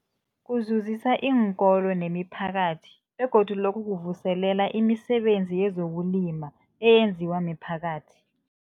Kuzuzisa iinkolo nemiphakathi begodu lokhu kuvuselela imisebenzi yezokulima eyenziwa miphakathi.